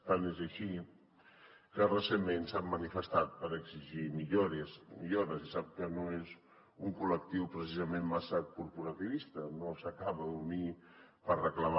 tant és així que recentment s’han manifestat per exigir millores i sap que no és un col·lectiu precisament massa corporativista no s’acaba d’unir per reclamar